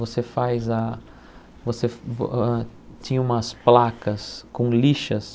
Você faz a... você... vo ãh tinha umas placas com lixas.